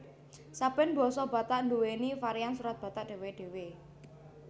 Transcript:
Saben basa Batak nduwèni varian Surat Batak dhéwé dhéwé